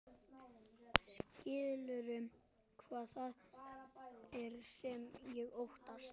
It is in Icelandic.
Skilurðu hvað það er sem ég óttast?